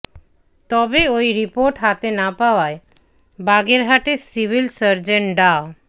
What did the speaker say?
তবে ওই রির্পোট হাতে না পাওয়ায় বাগেরহাটের সিভিল সার্জন ডা